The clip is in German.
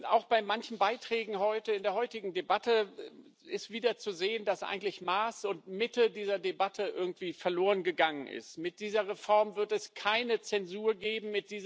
Auch bei manchen Beiträgen in der heutigen Debatte ist wieder zu sehen, dass eigentlich Maß und Mitte dieser Debatte verlorengegangen sind. Mit dieser Reform wird es keine Zensur geben.